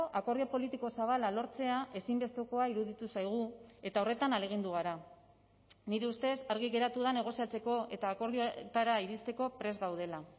akordio politiko zabala lortzea ezinbestekoa iruditu zaigu eta horretan ahalegindu gara nire ustez argi geratu da negoziatzeko eta akordioetara iristeko prest gaudela